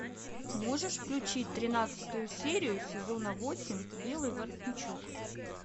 можешь включить тринадцатую серию сезона восемь белый воротничок